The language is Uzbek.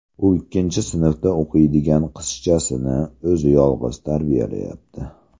U ikkinchi sinfda o‘qiydigan qizchasini yolg‘iz o‘zi tarbiyalayapti.